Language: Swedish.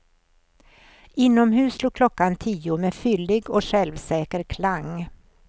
Inomhus slog klockan tio med fyllig och självsäker klang.